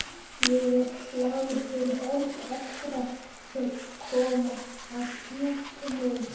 Ég er glaður fyrir hönd allra sem koma að klúbbnum.